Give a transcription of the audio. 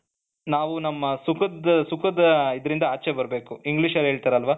ನಾವು ನಮ್ಮ ಸುಖದ ಸುಖದ ಇದ್ರಿಂದ ಆಚೆ ಬರಬೇಕು ಇಂಗ್ಲೀಷಲ್ಲಿ ಹೇಳ್ತಾರಲ್ಲ